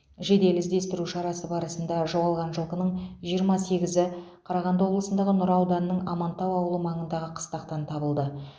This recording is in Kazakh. жедел іздестіру шарасы барысында жоғалған жылқының жиырма сегізі қарағанды облысындағы нұра ауданының амантау ауылы маңындағы қыстақтан табылды